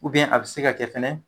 a bɛ se ka kɛ fɛnɛ.